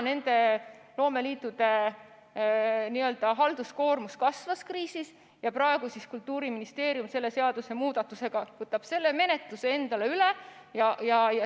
Loomeliitude halduskoormus kasvas kriisi ajal ja praegu võtab Kultuuriministeerium selle seadusemuudatusega selle menetluse üle.